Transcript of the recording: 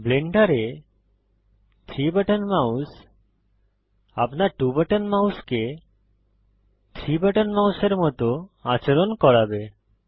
ব্লেন্ডারে 3 button mouse আপনার 2 button মাউসকে 3 বাটন মাউসের মত আচরণ করাবে